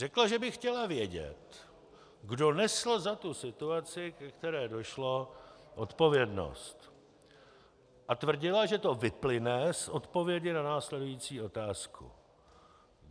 Řekla, že by chtěla vědět, kdo nesl za tu situaci, ke které došlo, odpovědnost, a tvrdila, že to vyplyne z odpovědi na následující otázku.